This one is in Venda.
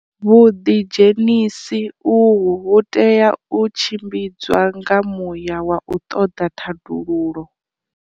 Vhuḓidzhenisi uhu vhu tea u tshimbidzwa nga muya wa u ṱoḓa thandululo.